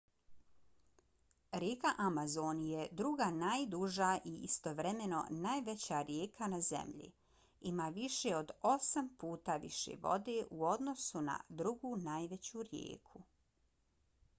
rijeka amazon je druga najduža i istovremeno najveća rijeka na zemlji. ima više od osam puta više vode u odnosu na drugu najveću rijeku